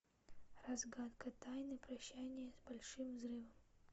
разгадка тайны прощание с большим взрывом